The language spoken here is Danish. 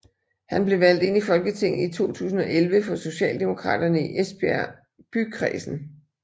Han blev valgt ind i Folketinget i 2011 for Socialdemokraterne i Esbjerg Bykredsen